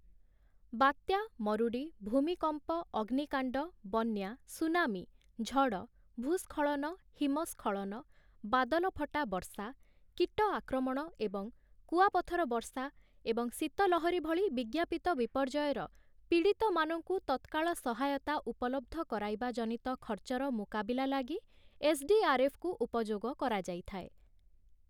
ବାତ୍ୟା, ମରୁଡ଼ି, ଭୂମିକମ୍ପ, ଅଗ୍ନିକାଣ୍ଡ, ବନ୍ୟା, ସୁନାମୀ, ଝଡ଼, ଭୂ-ସ୍ଖଳନ, ହିମସ୍ଖଳନ, ବାଦଲଫଟା ବର୍ଷା, କୀଟ ଆକ୍ରମଣ ଏବଂ କୁଆପଥର ବର୍ଷା ଏବଂ ଶୀତ ଲହରୀ ଭଳି ବିଜ୍ଞାପିତ ବିପର୍ଯ୍ୟୟର ପୀଡ଼ିତମାନଙ୍କୁ ତତ୍କାଳ ସହାୟତା ଉପଲବ୍ଧ କରାଇବା ଜନିତ ଖର୍ଚ୍ଚର ମୁକାବିଲା ଲାଗି ଏସ୍‌.ଡି.ଆର୍‌.ଏଫ୍‌.କୁ ଉପଯୋଗ କରାଯାଇଥାଏ ।